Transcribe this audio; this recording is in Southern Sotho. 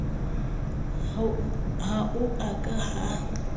ha ho a ka ha